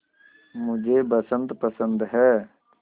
मुझे बसंत पसंद है